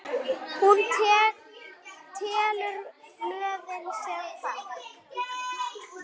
Hún telur blöðin, sem falla.